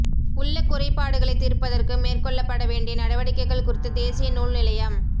உள்ள குறைபாடுகளை தீர்ப்பதற்கு மேற்கொள்ளப்படவேண்டிய நடவடிக்கைகள் குறித்து தேசிய நூல் நிலையம்